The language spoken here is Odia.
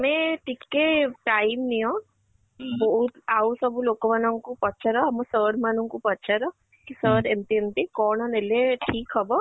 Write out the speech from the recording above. ତମେ ଟିକେ time ନିଅ ବହୁତ ଆଉ ସବୁ ଲୋକ ମାନ ଙ୍କୁ ପଚାର ଆମ sir ମାନ ଙ୍କୁ ପଚାର sir ଏମିତି ଏମିତି କ'ଣ ନେଲେ ଠିକ ହବ ?